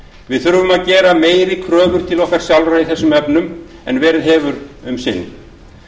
við þurfum að gera meiri kröfur til okkar sjálfra í þessum efnum en verið hefur um sinn